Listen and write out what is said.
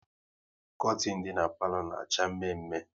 Kortin dị n'palo na acha mme mme